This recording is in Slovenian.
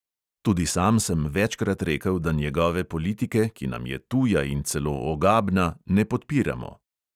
Tudi sam sem večkrat rekel, da njegove politike, ki nam je tuja in celo ogabna, ne podpiramo.